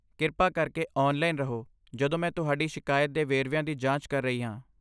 ਕਿਰਪਾ ਕਰਕੇ ਔਨਲਾਈਨ ਰਹੋ ਜਦੋਂ ਮੈਂ ਤੁਹਾਡੀ ਸ਼ਿਕਾਇਤ ਦੇ ਵੇਰਵਿਆਂ ਦੀ ਜਾਂਚ ਕਰ ਰਹੀ ਹਾਂ।